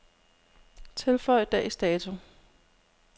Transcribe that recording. Tilføj dags dato.